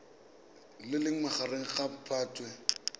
le leng magareng ga phatwe